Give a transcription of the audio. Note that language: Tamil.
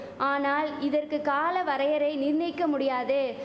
ஆனால் இதற்கு கால வரையறை நிர்ணயிக்க முடியாது